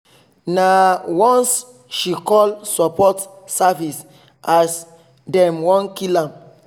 nah once she call support service as them wan kill am